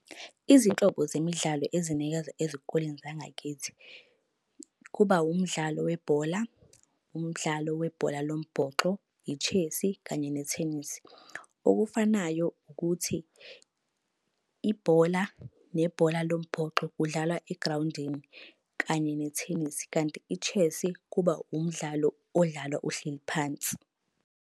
Izinhlobo zemidlalo ezinikeza ezikoleni zangakithi. Kuba umdlalo webhola, umdlalo webhola lombhoxo, i-chess-i kanye nethenisi. Okufanayo ukuthi ibhola nebhola lombhoxo kudlalwa egrawundini kanye nethenisi. Kanti i-chess-i kuba umdlalo odlalwa uhleli phansi.